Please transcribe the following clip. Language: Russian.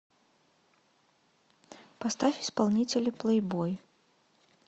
поставь исполнителя плейбой